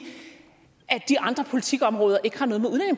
at de andre politikområder ikke har noget